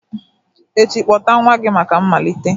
echi, kpọta nwa gị maka mmalite!